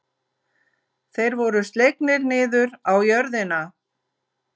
Þeir voru slegnir niður á jörðina.